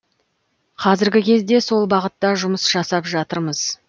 қазіргі кезде сол бағытта жұмыс жасап жатырмыз